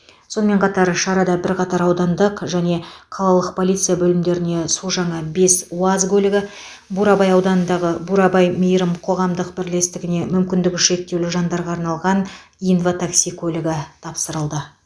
сонымен қатар шарада бірқатар аудандық және қалалық полиция бөлімдеріне су жаңа бес уаз көлігі бурабай ауданындағы бурабай мейрім қоғамдық бірлестігіне мүмкіндігі шектеулі жандарға арналған инватакси көлігі тапсырылды